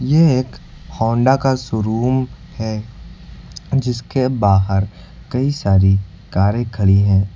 ये एक होंडा का शोरूम है जिसके बाहर कई सारी कारें खड़ी है और--